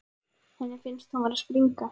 Henni finnst hún vera að springa.